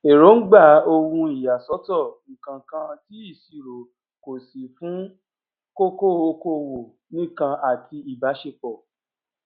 èróńgbà ohun ìyàsọtọ ǹkankan tí ìṣirò kò sì fún kókó okòwò nìkan àti ìbáṣepọ